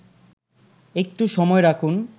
একটু সময় রাখুন